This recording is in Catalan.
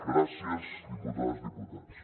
gràcies diputades diputats